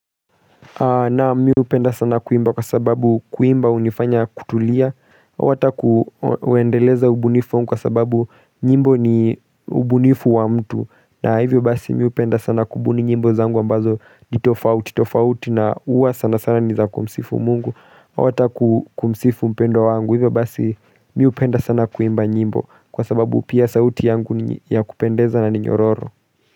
Naam mmi hupenda sana kuimba kwa sababu kuimba hunifanya kutulia hata kuendeleza ubunifu wangu kwa sababu nyimbo ni ubunifu wa mtu na hivyo basi mimi hupenda sana kubuni nyimbo zangu ambazo nitofaut tofauti na huwa sana sana nizakumsifu mungu hata kumsifu mpendwa wangu hivyo basi mimi hupenda sana kuimba nyimbo kwa sababu pia sauti yangu ya kupendeza na ninyororo.